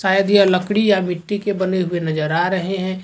शायद यह लकड़ी या मिट्टी के बने हुए नजर आ रहे हैं।